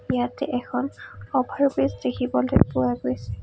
ইয়াতে এখন অভাৰ ব্ৰিজ দেখিবলৈ পোৱা গৈছে।